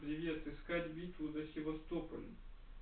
привет искать битву за севастополь